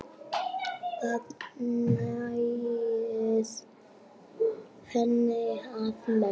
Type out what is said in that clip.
Það nægði henni að mestu.